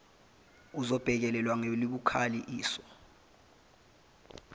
izobhekelelwa ngelibukhali iliso